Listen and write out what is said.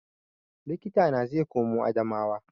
Likita na zai koma Adamawa